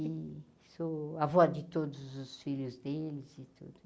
E sou a avó de todos os filhos deles e tudo.